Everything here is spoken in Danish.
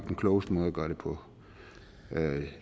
den klogeste måde at gøre det på men